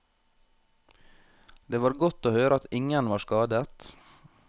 Det var godt å høre at ingen var skadet.